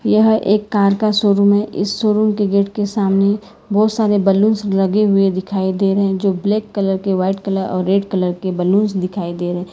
यह एक कार का शोरूम है इस शोरूम के गेट के सामने बहुत सारे बलूंस लगे हुए दिखाई दे रहे जो ब्लैक कलर के व्हाइट कलर और रेड कलर के बलूंस दिखाई दे रहे।